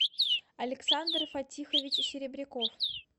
александр фатихович серебряков